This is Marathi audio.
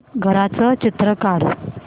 घराचं चित्र काढ